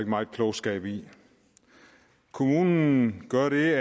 meget klogskab i kommunen gør det